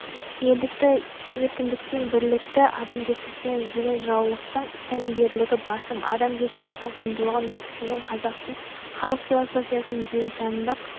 елдікті еркіндіктен бірлікті адамгершіліктен іздеген жыраулықтың тәлімгерлігі басым адамгершіліктің құндылығын дәріптеген қазақтың халық философиясының дүниетанымдық